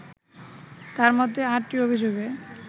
তার মধ্যে আটটি অভিযোগে